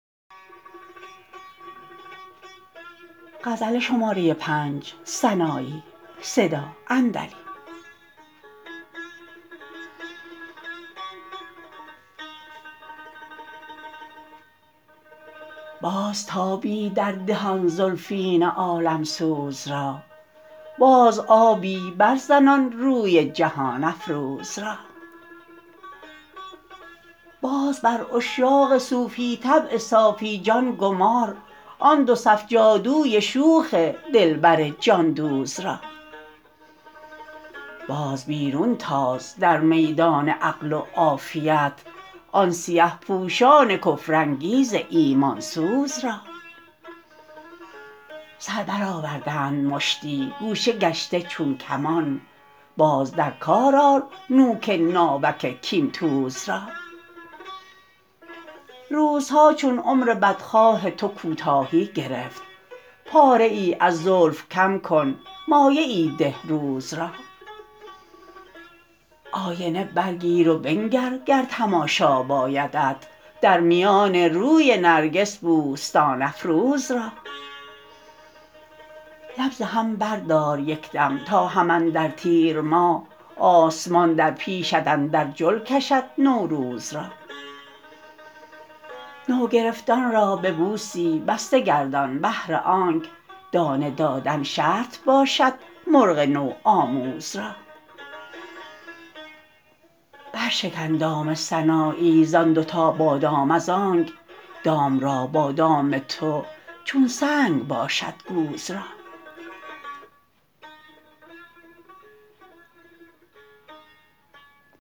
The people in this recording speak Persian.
باز تابی در ده آن زلفین عالم سوز را باز آبی بر زن آن روی جهان افروز را باز بر عشاق صوفی طبع صافی جان گمار آن دو صف جادوی شوخ دلبر جان دوز را باز بیرون تاز در میدان عقل و عافیت آن سیه پوشان کفر انگیز ایمان سوز را سر برآوردند مشتی گوشه گشته چون کمان باز در کار آر نوک ناوک کین توز را روزها چون عمر بد خواه تو کوتاهی گرفت پاره ای از زلف کم کن مایه ای ده روز را آینه بر گیر و بنگر گر تماشا بایدت در میان روی نرگس بوستان افروز را لب ز هم بردار یک دم تا هم اندر تیر ماه آسمان در پیشت اندر جل کشد نوروز را نوگرفتان را ببوسی بسته گردان بهر آنک دانه دادن شرط باشد مرغ نو آموز را بر شکن دام سنایی ز آن دو تا بادام از آنک دام را بادام تو چون سنگ باشد گوز را